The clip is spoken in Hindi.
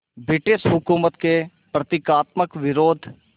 ब्रिटिश हुकूमत के प्रतीकात्मक विरोध